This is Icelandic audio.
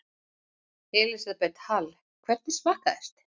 Elísabet Hall: Hvernig smakkaðist?